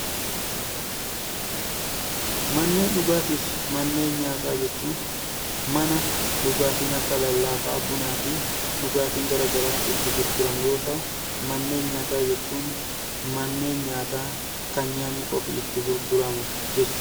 Manneen dhugaatii fi manneen nyaataa jechuun mana dhugaatiin akka lallaafaa bunaa fi dhugaatiin garaagaraa itti gurguramu yoo ta'u, manneen nyaataa jechuun manneen nyaataa kan nyaanni qofti itti gurguramu jechuudha.